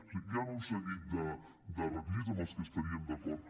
és a dir hi han un seguit de requisits amb els que estaríem d’acord